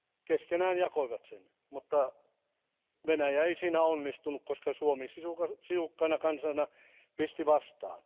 Keskenään jakoivat sen, mutta Venäjä ei siinä onnistunut, koska Suomi sisukkaana kansana pisti vastaan.